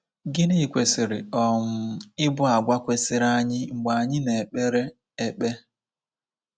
Gịnị kwesịrị um ịbụ àgwà kwesịrị anyị mgbe anyị na-ekpere ekpe?